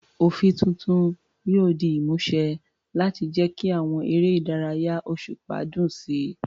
Òfin tuntun yóò di ìmúṣẹ láti jẹ́ kí àwọn eré ìdárayá òṣùpá dùn sí i.